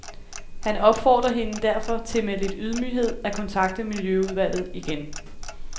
Han opfordrer hende derfor til med lidt ydmyghed at kontakte miljøudvalget igen.